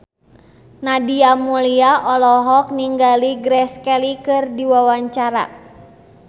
Nadia Mulya olohok ningali Grace Kelly keur diwawancara